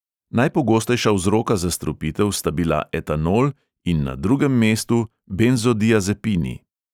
Najpogostejša vzroka zastrupitev sta bila etanol in na drugem mestu benzodiazepini.